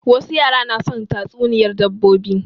Wasu yaran na son tatsuniyar dabbobi